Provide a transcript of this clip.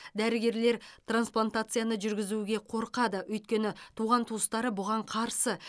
дәрігерлер трансплантацияны жүргізуге қорқады өйткені туған туыстары бұған қарсы